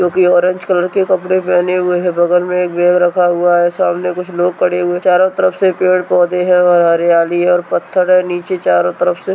जो की orange colour के कपड़े पहने हुए हैं बगल में एक बैग रखा हुआ है सामने कुछ लोग खड़े हुए हैं चारों तरफ से पेड़-पौधे हैं और हरियाली है और पत्थर है और नीचे चारों तरफ से--